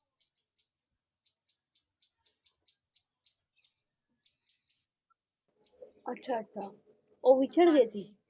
ਅੱਛਾ ਅੱਛਾ ਓ ਵਿਚਾਰ ਗਏ ਸੀ